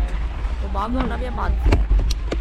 Pomagal nam je Manfred.